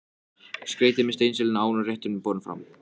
Skreytið með steinseljunni áður en rétturinn er borinn fram.